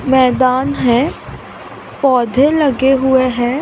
मैदान है पौधे लगे हुए हैं।